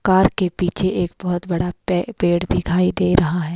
Car के पीछे एक बहोत बड़ा पे पेड़ दिखाई दे रहा है।